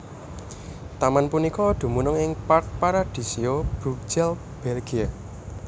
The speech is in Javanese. Taman punika dumunung ing Parc Paradisio Brugelette Belgia